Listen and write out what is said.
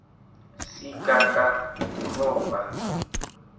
sigagawuroba